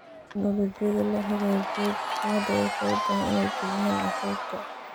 Tignoolajiyada la hagaajiyay, dadku hadda way u fududahay inay bixiyaan cashuurta.